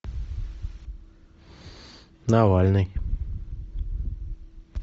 навальный